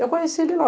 Eu conheci ele lá.